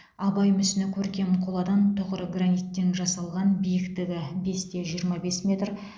абай мүсіні көркем қоладан тұғыры граниттен жасалған биіктігі бес те жиырма бес метр